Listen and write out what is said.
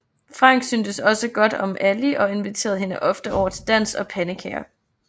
Frank syntes også godt om Allie og inviterer hende ofte over til dans og pandekager